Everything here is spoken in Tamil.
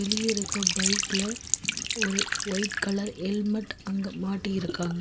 கி இருக்கு பைக்ல ஒரு ஒயிட் கலர் ஹெல்மெட் அங்க மாட்டியிருக்காங்க.